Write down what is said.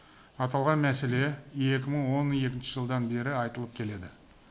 аталған мәселе екі мың он екінші жылдан бері айтылып келеді